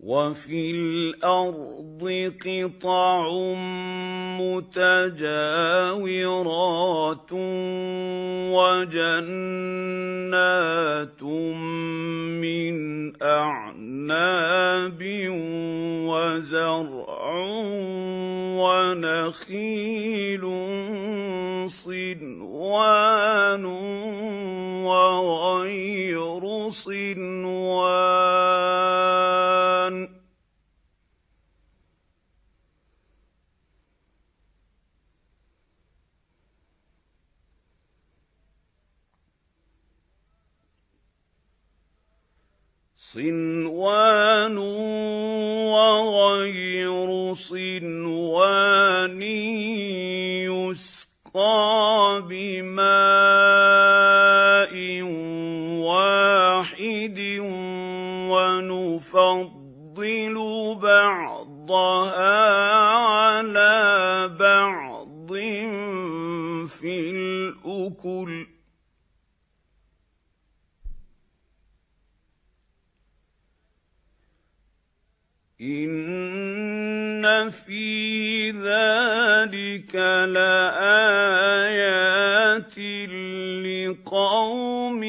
وَفِي الْأَرْضِ قِطَعٌ مُّتَجَاوِرَاتٌ وَجَنَّاتٌ مِّنْ أَعْنَابٍ وَزَرْعٌ وَنَخِيلٌ صِنْوَانٌ وَغَيْرُ صِنْوَانٍ يُسْقَىٰ بِمَاءٍ وَاحِدٍ وَنُفَضِّلُ بَعْضَهَا عَلَىٰ بَعْضٍ فِي الْأُكُلِ ۚ إِنَّ فِي ذَٰلِكَ لَآيَاتٍ لِّقَوْمٍ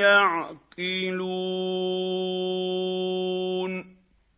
يَعْقِلُونَ